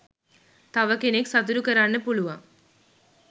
තව කෙනෙක් සතුටු කරන්න පුළුවන්